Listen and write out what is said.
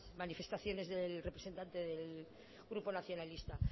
manifestaciones del representante del grupo nacionalista